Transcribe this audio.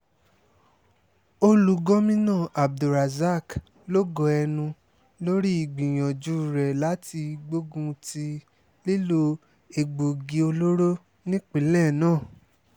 ó lu gomina abdulrasaq lógo ẹnu lórí ìgbìyànjú rẹ̀ láti gbógun ti lílo egbòogi olóró nípìnlẹ̀ náà